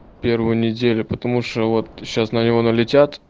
первую неделю потому что вот сейчас на него налетят